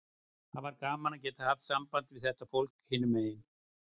Það var gaman að geta haft samband við þetta fólk hinum megin.